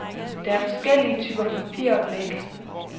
Der er forskellige typer papir og blæk.